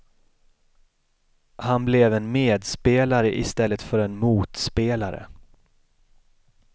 Han blev en medspelare i stället för en motspelare.